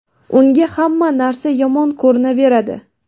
unga hamma narsa yomon ko‘rinaveradi.